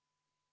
Palun!